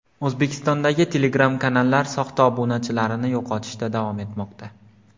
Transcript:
O‘zbekistondagi Telegram kanallar soxta obunachilarini yo‘qotishda davom etmoqda.